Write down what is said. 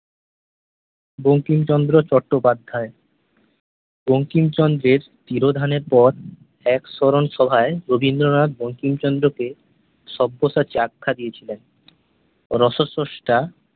বঙ্কিমচন্দ্র চট্টোপাধ্যায় বঙ্কিমচন্দ্রের তিরোধানের পর এক স্মরণসভায় রবীন্দ্রনাথ বঙ্কিমচন্দ্রকে সব্যসাচী আখ্যা দিয়েছিলেন । রসস্রস্টা